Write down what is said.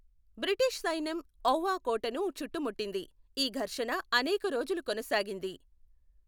British సైన్యం Ava కోటను చుట్టుముట్టింది, ఈ ఘర్షణ అనేక రోజులు కొనసాగింది.